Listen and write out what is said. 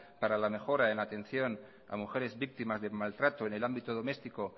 para la mejora en la atención a mujeres víctimas de maltrato en el ámbito doméstico